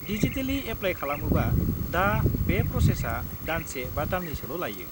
Digitally apply खालामोबा दा बे प्र'सेसआ दानसे बा दान्नैसोल' लायो।